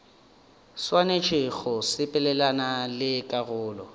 swanetše go sepelelana le karolo